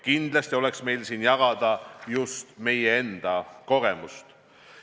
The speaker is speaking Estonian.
Kindlasti oleks meil jagada just meie enda kogemust.